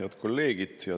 Head kolleegid!